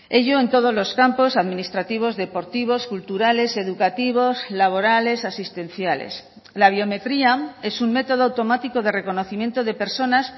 ello en todos los campos administrativos deportivos culturales educativos laborales asistenciales la biometría es un método automático de reconocimiento de personas